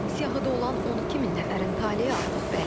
Siyahıda olan 12 min nəfərin taleyi artıq bəllidir.